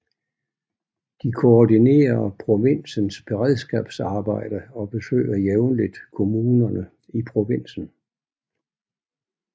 De koordinerer provinsens beredskabsarbejde og besøger jævnligt kommunerne i provinsen